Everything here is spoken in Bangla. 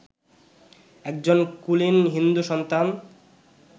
একজন কুলীন হিন্দু-সন্তান